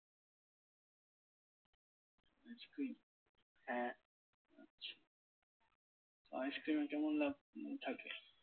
icecream এ কেমন লাভ থাকে?